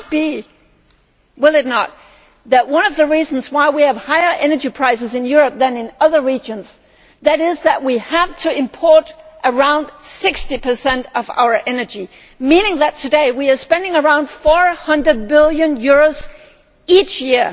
It could be that one of the reasons why we have higher energy prices in Europe than in other regions is that we have to import around 60 of our energy, meaning that today we are spending around EUR 400 billion each year.